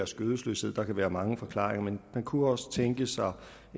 skødesløshed der kan være mange forklaringer men man kunne også tænke sig